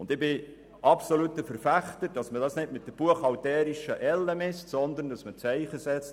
Ich bin absolut ein Verfechter davon, das nicht mit der buchhalterischen Elle zu messen, sondern dass man ein Zeichen setzt.